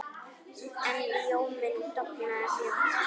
En ljóminn dofnaði fljótt.